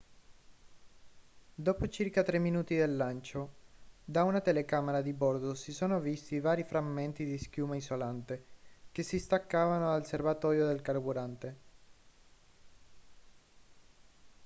dopo circa 3 minuti dal lancio da una telecamera di bordo si sono visti vari frammenti di schiuma isolante che si staccavano dal serbatoio del carburante